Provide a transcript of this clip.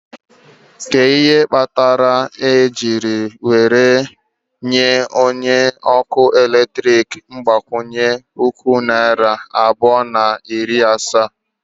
Kedu ihe kpatara e jiri nye onye ọkụ eletrik mgbakwunye puku naira abụọ na iri asaa?